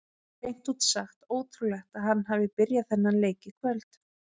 Hreint út sagt ótrúlegt að hann hafi byrjað þennan leik í kvöld.